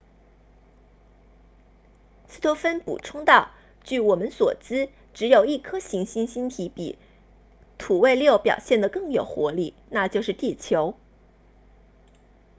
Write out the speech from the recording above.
斯托芬补充道据我们所知只有一颗行星星体比土卫六表现得更有活力那就是地球